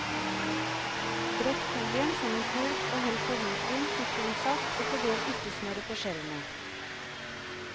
Brett folien som en kurv og hell på hvitvin, sitronsaft og fordel urtesmøret på skjellene.